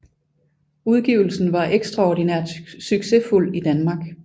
Udgivelsen var ekstraordinært succesfuld i Danmark